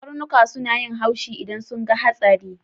Karnuka suna haushi idan sun ga hatsari.